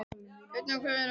Fertram, hvað er að frétta?